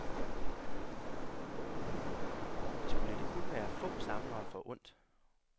Skal det kun være få samlere forundt?